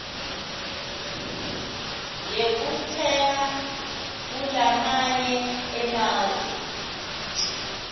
yekutsenga kulamanye emave